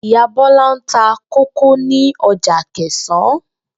Ìyá Bó̩lá ń ta kókò ní o̩jà Akè̩sán